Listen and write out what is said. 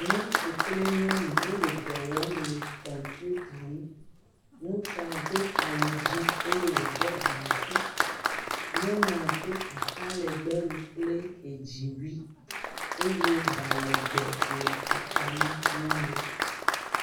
Nutsu kple nyɔnu wole dɔ wɔm le kɔmpita ŋu, ŋutsua do awu dzɛ̃ eye wòɖɔ gaŋkui, nyɔnua do ata legbe wu kple edziwui eye ɖa legbe le eta na nyɔnua.